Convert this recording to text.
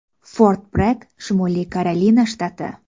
Fort-Bregg, Shimoliy Karolina shtati.